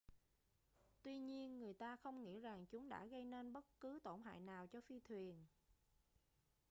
tuy nhiên người ta không nghĩ rằng chúng đã gây nên bất cứ tổn hại nào cho phi thuyền